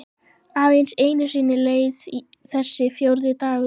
Aðeins einu sinni leið þessi fjórði dagur.